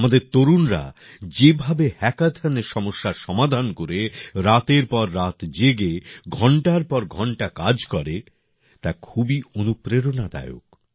আমাদের তরুণরা যেভাবে হ্যাকাথনে সমস্যার সমাধান করে রাতের পর রাত জেগে ঘণ্টার পর ঘণ্টা কাজ করে তা খুবই অনুপ্রেরণাদায়ক